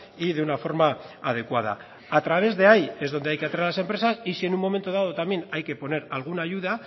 y de una forma adecuada a través de ahí es donde hay que atraer a las empresas y si en un momento dado también hay que poner alguna ayuda